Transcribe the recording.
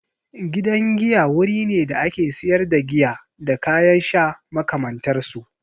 Gidan giya wuri ne da ake sayar da giya da kayan sha makamantar su.